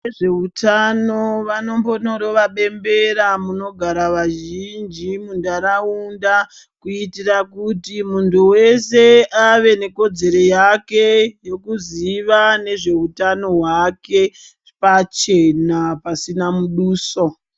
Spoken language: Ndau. Vezveutano vanomborova bembera munogara vazhinji muntaraunda kuitira kuti muntu weshe ave nekodzero yake yekuziva nezveutano hwake pachena pasina muduso.